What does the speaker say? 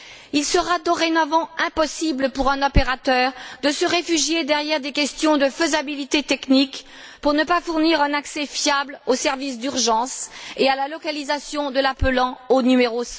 Il sera dorénavant impossible pour un opérateur de se réfugier derrière des questions de faisabilité technique pour ne pas fournir un accès fiable aux services d'urgence et à la localisation de l'utilisateur du numéro